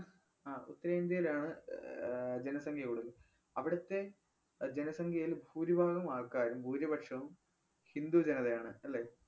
ആഹ് ഉത്തരേന്ത്യയിലാണ് അഹ് ആഹ് ജനസംഖ്യ കൂടുതല്‍. അവിടുത്തെ അഹ് ജനസംഖ്യയിൽ ഭൂരിഭാഗം ആൾക്കാരും ഭൂരിപക്ഷവും ഹിന്ദു ജനതയാണ് അല്ലേ?